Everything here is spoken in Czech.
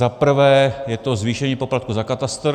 Za prvé je to zvýšení poplatku za katastr.